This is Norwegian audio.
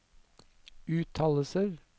uttalelser